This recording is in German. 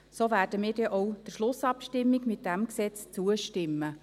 So werden wir diesem Gesetz denn auch in der Schlussabstimmung zustimmen.